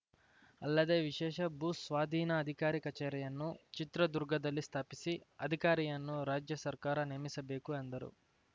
ಅಲ್ಲದೆ ವಿಶೇಷ ಭೂಸ್ವಾಧೀನ ಅಧಿಕಾರಿ ಕಚೇರಿಯನ್ನು ಚಿತ್ರದುರ್ಗದಲ್ಲಿ ಸ್ಥಾಪಿಸಿ ಅಧಿಕಾರಿಯನ್ನು ರಾಜ್ಯ ಸರ್ಕಾರ ನೇಮಿಸಬೇಕು ಎಂದರು